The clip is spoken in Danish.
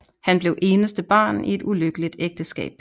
Han blev eneste barn i et ulykkeligt ægteskab